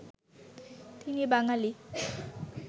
তিনি বাঙালি